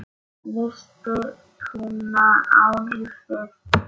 Missti trúna á lífið.